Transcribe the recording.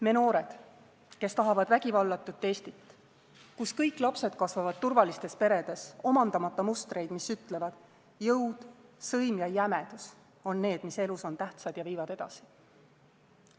Me noored, kes tahavad vägivallatut Eestit, kus kõik lapsed kasvavad turvalistes peredes, omandamata mustreid, mis ütlevad: jõud, sõim ja jämedus on need, mis elus on tähtsad ja viivad edasi.